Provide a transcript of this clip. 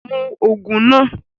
Mú òògùn náà!